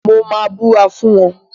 Mo máa búra fún wọ́n.